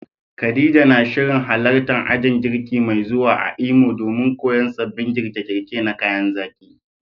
Khadija na shirin halartar ajin girki mai zuwa a Imo domin koyon sabbin girke-girke na kayan zaki.